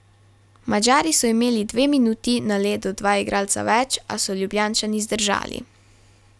Madžari so imeli dve minuti na ledu dva igralca več, a so Ljubljančani zdržali.